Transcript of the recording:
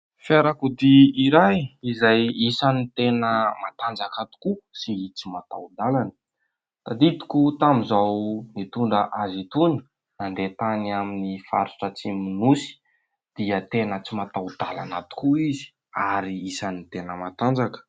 fiarakodia iray izay isan'ny tena matanjaka tokoa sy tsy mataho - dalana .Tadidiko tamin'izaho nitondra azy toy ny nandeha tany amin'ny faritra atsimon ' ny nosy dia tena tsy mataho -dalana tokoa izy ary isan'ny tena matanjaka